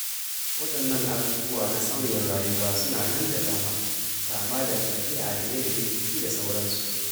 Waɗannan abubuwa na sauyin rayuwa suna nan da dama, kama daga ɗabi'a da yanayin jiki, da sauransu.